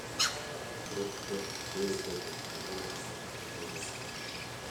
открой четвертую серию третьего сезона остаться в живых